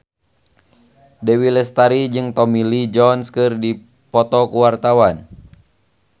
Dewi Lestari jeung Tommy Lee Jones keur dipoto ku wartawan